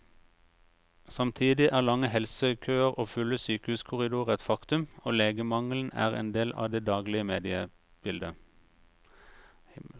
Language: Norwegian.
Samtidig er lange helsekøer og fulle sykehuskorridorer et faktum, og legemangelen er en del av det daglige mediebildet.